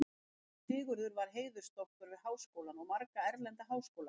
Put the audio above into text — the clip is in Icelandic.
Sigurður var heiðursdoktor við Háskólann og marga erlenda háskóla.